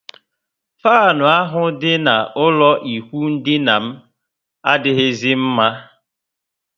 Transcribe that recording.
Fanu ahụ dị na ụlọ ikwụ dina m adighizi mma